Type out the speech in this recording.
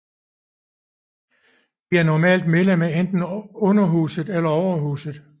De er normalt medlem af enten Underhuset eller Overhuset